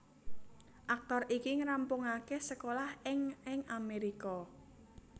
Aktor iki ngrampungaké sekolah ing ing Amerika